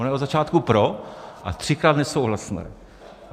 Ona je od začátku pro, a třikrát nesouhlasné!